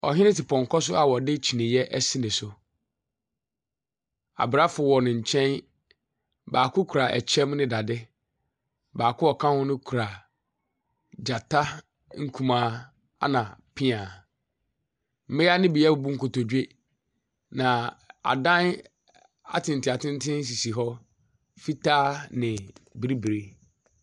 Ɔhene te pɔnkɔ so a ɔde kyiniiɛ ɛsi no so. Abrafo wɔ nenkyɛn. Baako kura ɛkyɛm ne dade. Baako a ɔka ho no kura gyata nkumaa ɛna piaa. Mmea no bia ɛbubu nkotodwe. Na adan atentenatenten sisi hɔ, fitaa ne bibre.